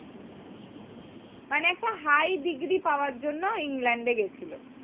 মানে একটা high degree পাওয়ার জন্য ইংল্যান্ডএ গেছিলো